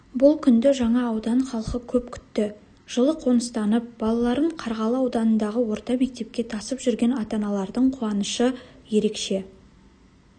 бұл күнді жаңа аудан халқы көп күтті жылы қоныстанып балаларын қарғалы ауданындағы орта мектепке тасып жүрген ата-аналардың қуанышы ерекше